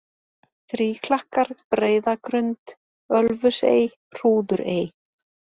Þríklakkar, Breiðagrund, Ölfusey, Hrúðurey